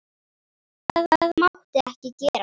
Það mátti ekki gerast.